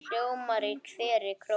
hljóma í hverri kró.